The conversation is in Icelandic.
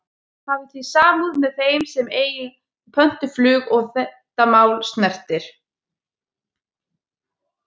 Hafi þið samúð með þeim sem að eiga pöntuð flug og þetta mál snertir?